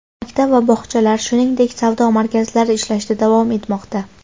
Maktab va bog‘chalar, shuningdek, savdo markazlari ishlashda davom etmoqda.